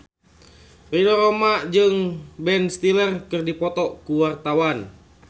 Ridho Roma jeung Ben Stiller keur dipoto ku wartawan